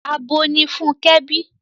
Abo ni Fúnkẹ́ bí.